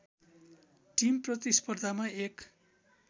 team प्रतिस्पर्धामा एक